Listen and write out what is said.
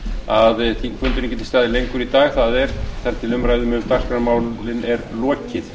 að þingfundurinn geti staðið lengur í dag það er þar til umræðum um dagskrármálin er lokið